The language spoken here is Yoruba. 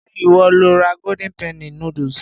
Ṣé ìwọ lo ra golden penny noodles?